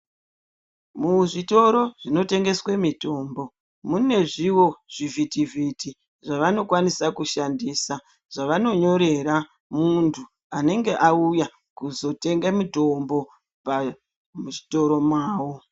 Muzvitoro zvinotengeswe mitombo munezvivo zvivhitivhiti zvavanokwanisa kushandisa. Zvavanonyorera muntu anenge auya kuzotenge mitombo muzvitoro mavo.